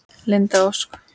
Linda Ósk.